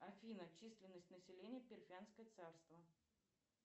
афина численность населения парфянское царство